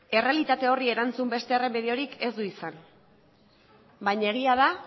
errealitate horri erantzun beste erremediorik ez du izan baina egia da